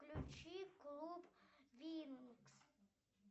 включи клуб винкс